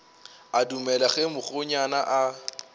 a dumele ge mokgonyana a